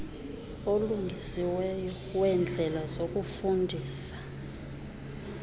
olungisiweyo weendlela zokufundisa